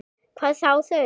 Hvað þá þau.